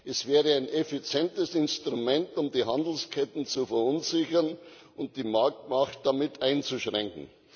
Es wäre ein effizientes Instrument, um die Handelsketten zu verunsichern und die Marktmacht damit einzuschränken.